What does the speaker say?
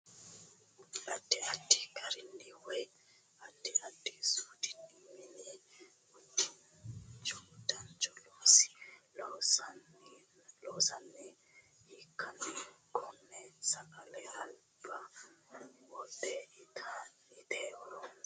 Addi addi gararinni Woyi addi addi suudinni mini udiinnicho loonsanniha ikkanna konne sagale albaa wodhe itate horonsi'nanni uduunnicho hiittoo suudinni loonsonniho?